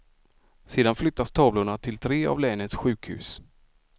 Sedan flyttas tavlorna till tre av länets sjukhus.